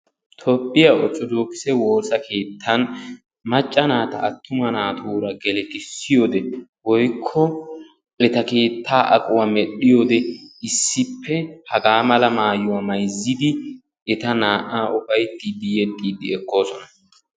toophiya orthodokise woosa keetan macca naata attuma naatuura geletissiyo wode eta naa''a hagaa mala maayuwa mayzzidi yedoosona.